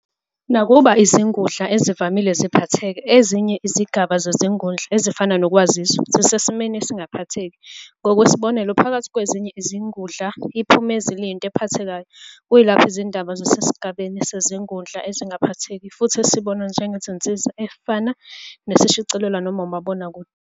Nakuba izingudla ezivamile ziphatheka, ezinye izigaba zezingudla, ezifana nokwaziswa, zisesimweni esingaphatheki. Ngokwesibonelo, phakathi kwezinye izingudla iphumezi liyinto ephathekayo, kuyilapho izindaba zisesigabeni sezingudla ezingaphatheki futhi esibonwa njengensiza efana nesishicilelwa noma umabonakude.